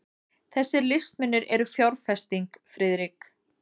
Þessir listmunir eru fjárfesting, Friðrik.